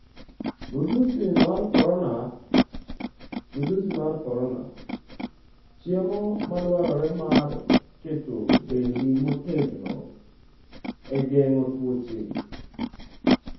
Midhusi mar korona: Chiemo madwarore mar keto dendi motegno e geng'o tuoche